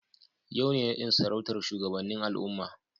Yau ne nadin sarautar shugabannin al'umma.